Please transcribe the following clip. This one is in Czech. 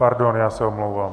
Pardon, já se omlouvám.